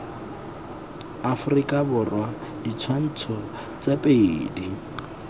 aforika borwa ditshwantsho tse pedi